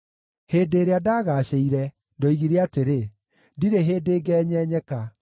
Hĩndĩ ĩrĩa ndagaacĩire, ndoigire atĩrĩ, “Ndirĩ hĩndĩ ngenyenyeka.”